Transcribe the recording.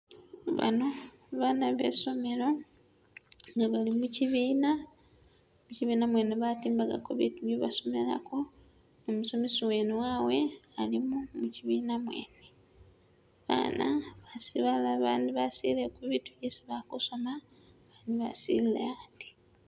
Bano bana be i'somelo nga bali mu kibiina, mukibiina mwene batimbagako bitu bye basomelako ni umusomesi mwene wawe alimo mukibiina mwene. Bana basi balala bandi basilile ku bitu byesi ba kusoma, bandi basilile andi.